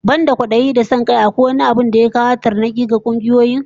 Banda kwadayi da son kai, akwai wani abin da ya fi kawo tarnaki ga kungiyoyi?